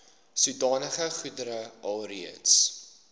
sodanige goedere alreeds